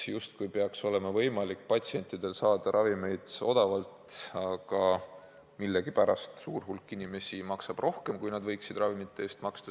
Justkui peaks olema võimalik patsientidel saada ravimeid odavalt, aga millegipärast suur hulk inimesi maksab ravimite eest rohkem, kui võiks maksta.